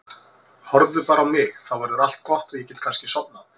Horfðu bara á mig, þá verður allt gott og ég get kannski sofnað.